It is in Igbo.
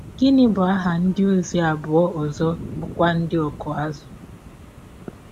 Gịnị bụ aha ndịozi abụọ ọzọ bụ́kwa ndị ọkụ azụ̀?